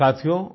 साथियो